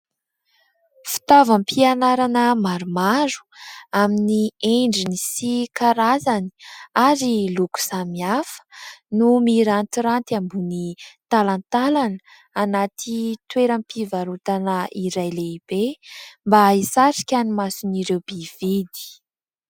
Fitaovam-pianarana maromaro amin'ny endriny, sy karazany, ary loko samihafa no mirantiranty ambony talantalana, anaty toeram-pivarotana iray lehibe, mba hisarika ny mason'ireo mpividy.